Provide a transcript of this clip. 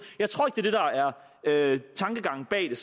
der er tankegangen bag